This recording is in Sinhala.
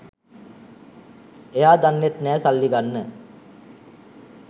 එයා දන්නෙත් නෑ සල්ලි ගන්න